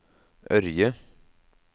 Ørje